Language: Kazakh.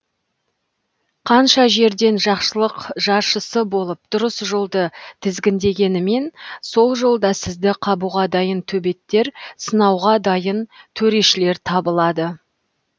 қанша жерден жақсылық жаршысы болып дұрыс жолды тізгіндегенімен сол жолда сізді қабуға дайын төбеттер сынауға дайын төрешілер табылады